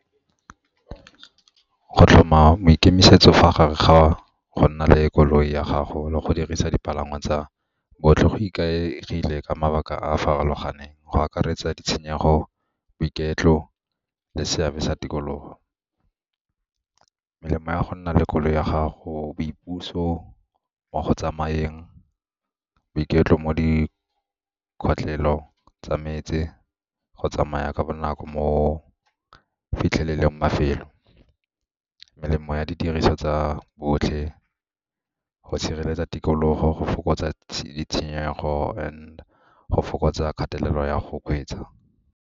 Go tlhoma maikemisetso fa gare ga go nna le koloi ya gago le go dirisa dipalangwa tsa botlhe go ikaegile ka mabaka a a farologaneng go akaretsa ditshenyego, boiketlo le seabe sa tikologo. Melemo ya go nna le koloi ya gago, boipuso mo go tsamayeng, boiketlo mo tsa metse, go tsamaya ka bonako mo fitlheleleng mafelo. Melemo ya didiriswa tsa botlhe go sireletsa tikologo, go fokotsa ditshenyegelo and go fokotsa kgatelelo ya go kgweetsa.